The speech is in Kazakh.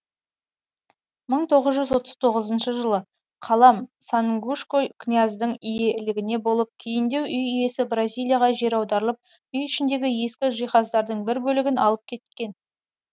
мың тоғыз жүз отыз тоғызыншы жылы қалам сангушко князьдің иелігінде болып кейіндеу үй иесі бразилияға жер аударылып үй ішіндегі ескі жиһаздардың бір бөлігін алып кеткен